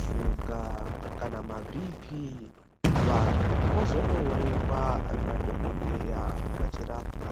shuga kana mabhiipiii vantu vozondoonekwa nadhokodheya vachirapwa.